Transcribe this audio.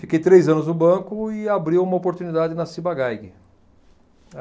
Fiquei três anos no banco e abriu uma oportunidade na Ciba-Geigy